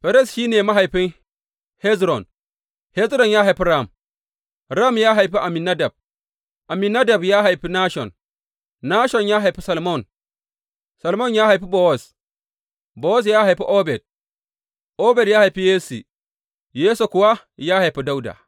Ferez shi ne mahaifin Hezron, Hezron ya haifi Ram, Ram ya haifi Amminadab, Amminadab ya haifi Nashon, Nashon ya haifi Salmon, Salmon ya haifi Bowaz, Bowaz ya haifi Obed, Obed ya haifi Yesse, Yesse kuwa ya haifi Dawuda.